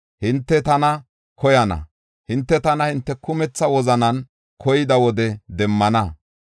Hinte tana koyana; hinte tana hinte kumetha wozanan koyida wode demmana.